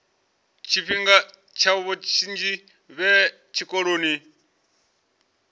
tshifhinga tshavho tshinzhi vhe tshikoloni